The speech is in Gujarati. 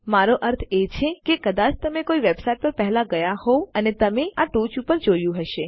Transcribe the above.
મારો અર્થ એ છે કે કદાચ તમે કોઈ વેબસાઈટ પર પહેલા ગયા હોવ અને તમે આ ટોચ ઉપર જોયું હશે